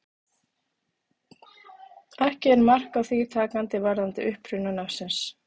Ekki er mark á því takandi varðandi uppruna nafnsins.